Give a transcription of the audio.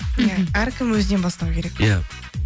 әркім өзінен бастау керек иә